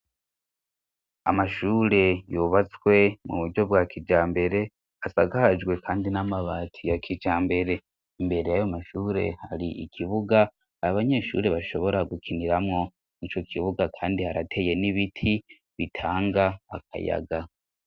Amashure yubatswe mu buryo bwa kijambere asakajwe kandi n'amabati ya kijambere. Imbere y'ayo mashure, hari ikibuga abanyeshure bashobora gukiniramo. Ico kibuga kandi harateye n'ibiti bitanga akayaga.